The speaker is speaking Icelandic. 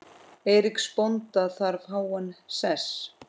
Eiríks bónda þar háan sess.